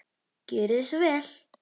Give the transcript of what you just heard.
Gjörið svo vel!